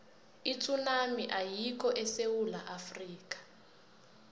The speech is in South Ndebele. itsunami ayikho esewula afrika